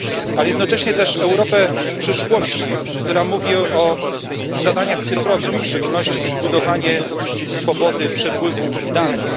a także Europę przyszłości, która mówi o zadaniach cyfrowych, a w szczególności o zbudowaniu swobody przepływu danych.